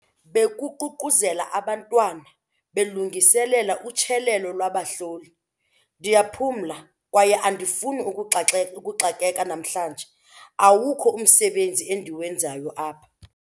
Bekuququzela abantwana belungiselela utyelelo lwabahloli. ndiyaphumla kwaye andifuni ukuxakeka namhlanje, awukho umsebenzi endiwenzayo apha